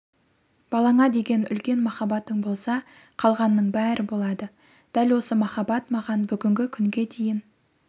балаңа деген үлкен махаббатың болса қалғанның бәрі болады дәл осы махаббат маған бүгінгі күнге дейін